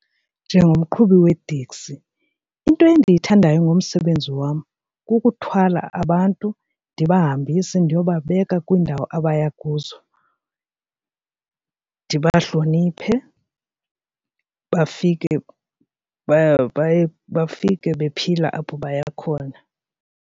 Njengomqhubi wewteksi into endiyithandayo ngomsebenzi wam kukuthwala abantu ndiyabahambisa ndiyobabeka kwiindawo abaya kuzo ndibahloniphe bafike bafike bephila apho baya khona.